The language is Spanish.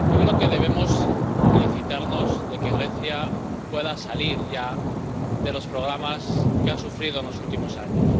Señora presidenta, yo creo que debemos felicitarnos de que Grecia pueda salir ya de los programas que ha sufrido en los últimos años.